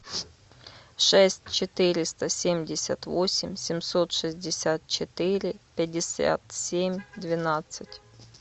шесть четыреста семьдесят восемь семьсот шестьдесят четыре пятьдесят семь двенадцать